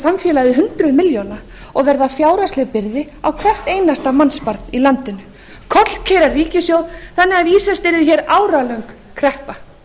samfélagið hundruð milljóna og verða fjárhagsleg byrði á hvert einasta mannsbarn í landinu og kollkeyra ríkissjóð þannig að vísast yrði hér áralöng kreppa